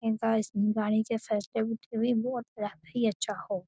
इनका इस गाड़ी काफी अच्छा हो।